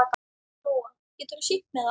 Lóa: Geturðu sýnt mér það?